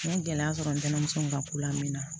N ye gɛlɛya sɔrɔ n terimuso ka ko lamɛn